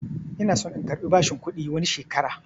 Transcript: Ina son in karbi bashin kuɗi wani shekaran